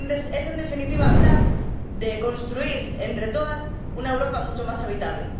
Es, en definitiva, hablar de construir entre todas una Europa mucho más habitable.